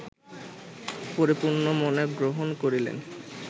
পরিপূর্ণ মনে গ্রহণ করিলেন